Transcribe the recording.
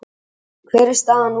Kristján hver er staðan núna?